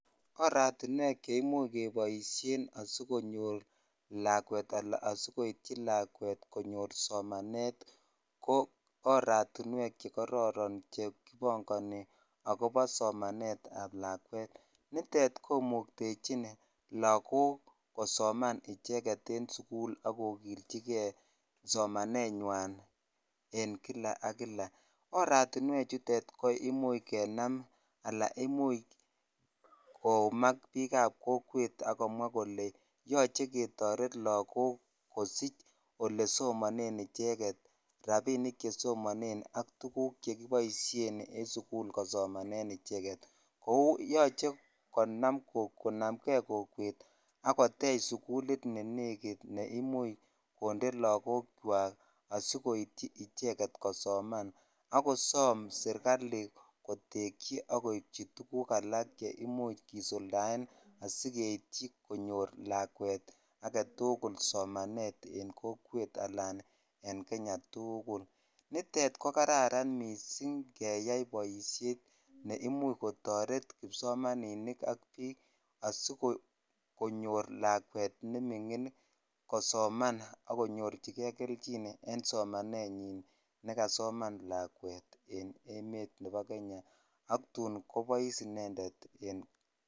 Oratiwek che imuch koboishen asikonyor lakwet ala asikoityi ala asikonyor lakwet somanet ko oratiwek chekororon che kipongonik akobo somanet ab lakwet nitet komoktechin lakok kosoman icheemget en sukul ak kokilchikei somanenywan en kila ak kila oratiwek chuton ko imuch kenam ala imuch koumak bik ab kokwet akomwa kole yoche ketoret lakok kosich ole somanen icheget rabinik che somonet ak tuguk chekiboishen en sukul kosomanen icheget kou yoche konam kei kokwet ak kotich sukul ne negit ne imuch konde lakok chwak kosomanan ak kosom serikali kotich ak koipich tuguk alak che imuch kisuldaen asigeityi konyor lakwet agetukul soma et en kokwet alan en Kenya tukul nitet ko kararan missing keyai boishet ne imuch kotor kipsomaninik asikonyor lakwet nemingin kosoman ak konyorchikei kelchin en somanenyin nekasoman lakwet en emet nebo Kenya ak tun kobois inended en.